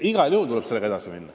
Igal juhul tuleb sellega edasi minna.